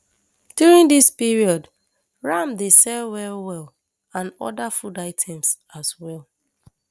during dis period ram dey sell well well and oda food items as well